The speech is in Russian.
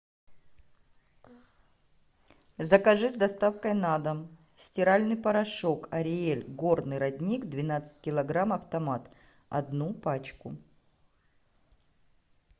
закажи с доставкой на дом стиральный порошок ариэль горный родник двенадцать килограмм автомат одну пачку